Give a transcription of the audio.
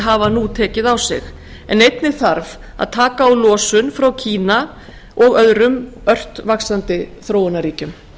hafa nú tekið á sig en einnig þarf að taka á losun frá kína og öðrum ört vaxandi þróunarríkjum